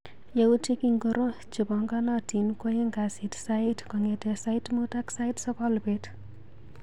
Yautik ingoro chepanganatin kwaeng' kasit sait kong'ete sait muut ak sait sokol bet.